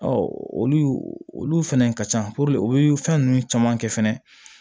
olu olu fɛnɛ ka ca puruke o ye fɛn ninnu caman kɛ fɛnɛ